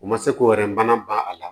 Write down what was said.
U ma se ko wɛrɛ bana ban a la